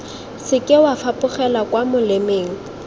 seke wa fapogela kwa molemeng